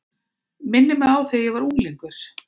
Minnir mig á þegar ég var unglingur.